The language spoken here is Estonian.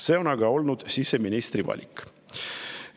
See on aga olnud siseministri valik.